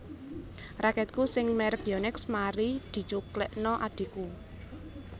Raketku sing merk Yonex mari dicuklekno adhiku